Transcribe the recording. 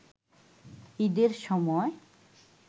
ঈদের সময়